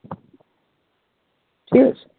বুঝেছিস?